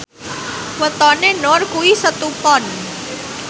wetone Nur kuwi Setu Pon